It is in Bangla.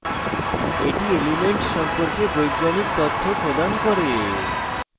এটি elements সম্পর্কে বৈজ্ঞানিক তথ্য প্রদান করে